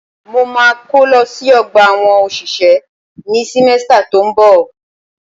Mo ma kó lọ sí ọgbà àwọn òṣìṣẹ́ ní símẹ́stà tó ń bọ̀.